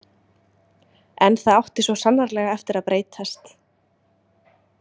En það átti svo sannarlega eftir að breytast.